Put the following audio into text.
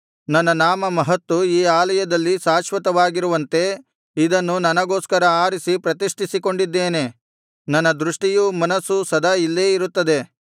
ನನ್ನ ನಾಮ ಮಹತ್ತು ಈ ಆಲಯದಲ್ಲಿ ಶಾಶ್ವತವಾಗಿರುವಂತೆ ಇದನ್ನು ನನಗೋಸ್ಕರ ಆರಿಸಿ ಪ್ರತಿಷ್ಠಿಸಿಕೊಂಡಿದ್ದೇನೆ ನನ್ನ ದೃಷ್ಠಿಯೂ ಮನಸ್ಸೂ ಸದಾ ಇಲ್ಲೇ ಇರುತ್ತದೆ